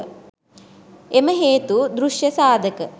එම හේතු දෘෂ්‍ය සාධක